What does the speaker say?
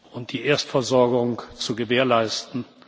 und die Erstversorgung zu gewährleisten.